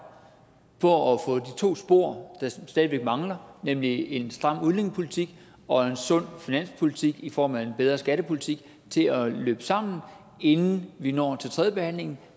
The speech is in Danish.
på at få de to spor der stadig væk mangler nemlig en stram udlændingepolitik og en sund finanspolitik i form af en bedre skattepolitik til at løbe sammen inden vi når til tredjebehandlingen